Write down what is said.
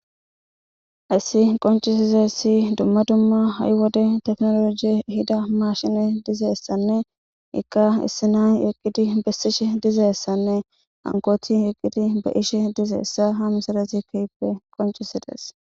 issi qoncis izessi dumma dumma ha7i wode teknolologi hida maashine dizeessanne ikka issinay eqqidi bessishe dizeessanne hankoti eqqidi ba ishe dizeessa hamsadezikppe qoncisidees